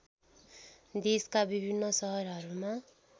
देशका विभिन्न सहरहरूमा